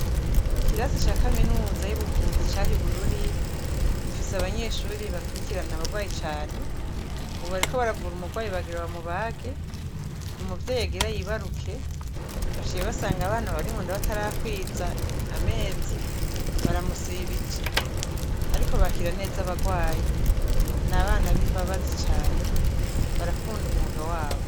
Ikirasi ca kaminuza y'ubuvuzi cah ibururi ifise abanyeshuri bakurikirana abarwayi cane ububariko baravura umurwayi bagira bamubage niumuvyoyagira yibaruke bashiye basanga abana barimu ndabatar akwiza amezi baramusibije, ariko bakira neza abarwaye ni abana b'imbabazi cane barakunda umwuga wabo.